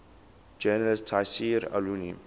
journalist tayseer allouni